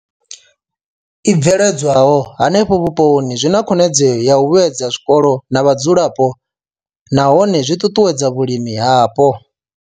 I bveledzwaho henefho vhuponi zwi na khonadzeo ya u vhuedza zwikolo na vhadzulapo nahone zwi ṱuṱuwedza vhulimi hapo.